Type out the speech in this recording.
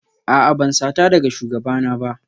A'a ban sata daga shugabana ba